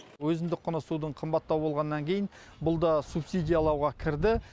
өзіндік құны судың қымбаттау болғаннан кейін бұл да субсидиялауға кірді